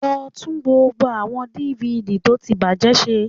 Lọ tún gbogbo àwọn DVD tó ti bàjẹ́ ṣe